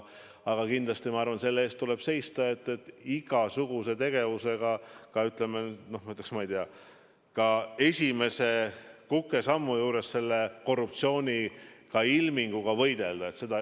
Aga ma arvan, et kindlasti tuleb seista selle eest, et igasuguse korruptsiooniilminguga ka esimese kukesammu puhul võidelda.